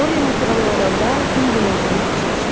Doryan yuxudan oyananda gün günortanı keçmişdi.